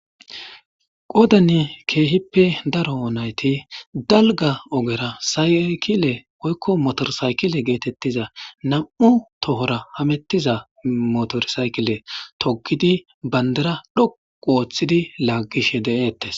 Qoodani keehippe daro nayti dalga ogera saykile oykko motorsaykile geetettiza nam7u tohora hamettiza motorsaykile togidi bandara dhoqu ooththidi laaggishe de7eettes.